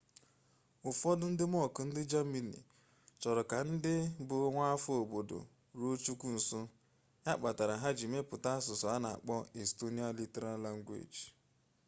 ufodu ndi monk ndi germany choro ka ndi bu nwaafo obodo ruo chukwu nso ya kpatara ha ji meputa asusu ana akpo estonian literal language